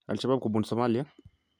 Al_shabab kobun Somalia?